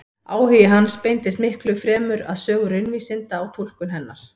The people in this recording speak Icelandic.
Áhugi hans beindist miklu fremur að sögu raunvísinda og túlkun hennar.